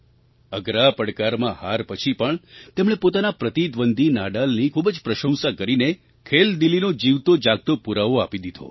અઘરા પડકારમાં હાર પછી પણ તેમણે પોતાના પ્રતિદ્વંદી નાડાલની ખૂબ જ પ્રશંસા કરીને ખેલદિલીનો જીવતો જાગતો પુરાવો આપી દીધો